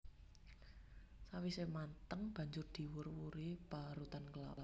Sawisé mateng banjur diwur wuri parutan klapa